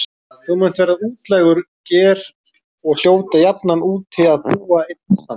Þú munt verða útlægur ger og hljóta jafnan úti að búa einn samt.